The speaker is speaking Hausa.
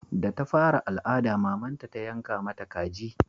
Da ta fara al'ada mamanta ta yanka mata kaji